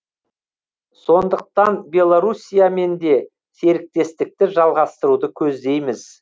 сондықтан беларусиямен де серіктестікті жалғастыруды көздейміз